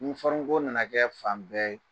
ko nana kɛ fan bɛɛ ye.